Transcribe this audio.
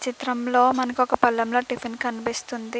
చిత్రంలో మనకు ఒక పళ్ళెంలో లో టిఫిన్ కనిపిస్తుంది.